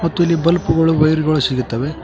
ಮತ್ತೆ ಇಲ್ಲಿ ಬಲ್ಬ್ ಗಳು ವೈರ್ ಗಳು ಸಿಗುತ್ತವೆ.